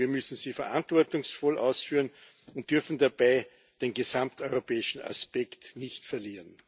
Wir müssen sie verantwortungsvoll ausführen und dürfen dabei den gesamteuropäischen Aspekt nicht verlieren.